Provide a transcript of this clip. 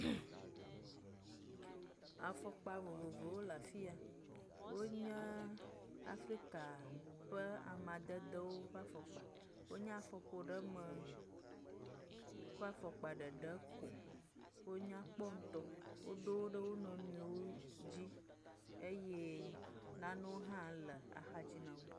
Afɔkpa vovovowo le afiya, wonye Afrika ƒe amadedewo ƒe afɔkpa wonye afɔƒoɖeme ƒe afɔkpa ɖeɖe ko, wonyakpɔ ŋutɔ, woɖo wo ɖe wo nɔnɔewo dzi eye nanewo hã le axadzi nao.